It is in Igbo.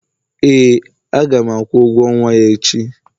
ee, a ga m akwụ ụgwọ nwa ya echi